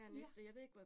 Ja